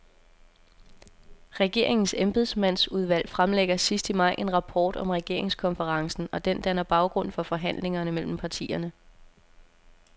Regeringens embedsmandsudvalg fremlægger sidst i maj en rapport om regeringskonferencen, og den danner baggrund for forhandlingerne mellem partierne.